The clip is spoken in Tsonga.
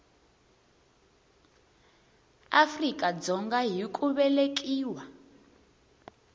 afrika dzonga hi ku velekiwa